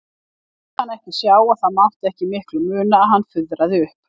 Lét hana ekki sjá að það mátti ekki miklu muna að hann fuðraði upp.